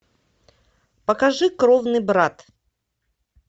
покажи кровный брат